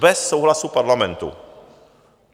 Bez souhlasu Parlamentu.